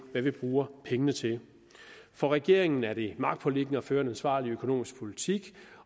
hvad vi bruger pengene til for regeringen er det magtpåliggende at føre en ansvarlig økonomisk politik